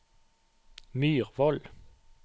Myrvoll